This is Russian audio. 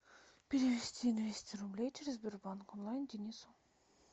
перевести двести рублей через сбербанк онлайн денису